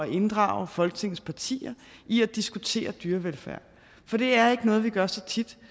inddrage folketingets partier i at diskutere dyrevelfærd for det er ikke noget vi gør så tit